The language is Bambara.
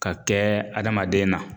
Ka kɛɛ adamaden na